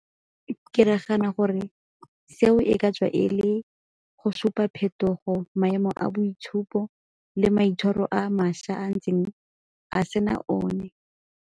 Ke nagana gore seo e ka tswa e le go supa phetogo, maemo a boitshupo le maitshwaro a mašwa a ntseng a sena one.